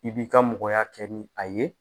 I b'i ka mɔgɔya kɛ ni a ye